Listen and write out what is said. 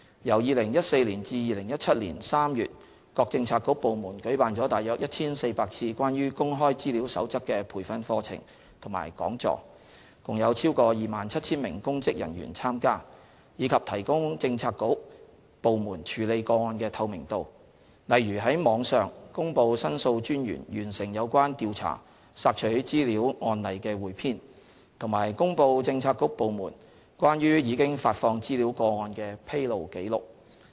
由2014年至2017年3月各政策局/部門舉辦了約 1,400 次關於《守則》的培訓課程及講座，共有超過 27,000 名公職人員參加；以及提高政策局/部門處理個案的透明度，例如於網上公布申訴專員完成有關調查索取資料案例的彙編，以及公布政策局/部門關於已發放資料個案的"披露記錄"。